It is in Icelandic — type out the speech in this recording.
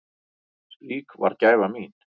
Slík var gæfa mín.